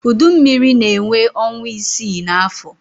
Udu mmiri na-enwe ọnwa isii n'afọ.